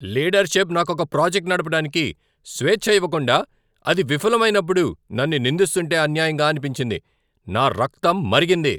Leadership నాకు ఒక project నడపడానికి స్వేచ్ఛ ఇవ్వకుండా, అది విఫలం అయినప్పుడు నన్ను నిందిస్తుంటే అన్యాయంగా అనిపించింది, నా రక్తం మరిగింది.